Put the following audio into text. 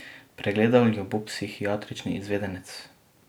Pregledal jo bo psihiatrični izvedenec.